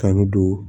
Kan don